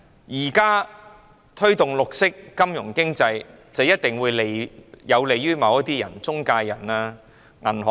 現時推動綠色金融經濟，一定會有利於某些中介人和銀行。